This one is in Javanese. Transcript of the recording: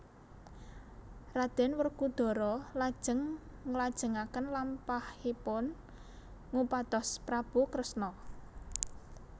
Raden Werkudara lajeng nglajengaken lampahipun ngupados Prabu Kresna